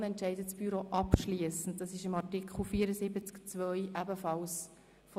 GO entscheidet das Büro abschliessend über die Dringlichkeit von Motionen.